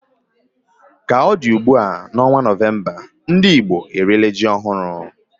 Ka ọ dị ugbu a, n'ọnwa Novemba, ndị Igbo eriela ji ọhụrụ